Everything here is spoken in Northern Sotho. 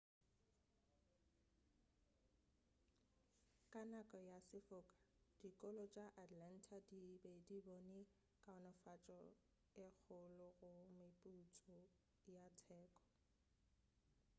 ka nako ya sefoka dikolo tša atlanta di be di bone kaonafatšo e kgolo go mephutso ya teko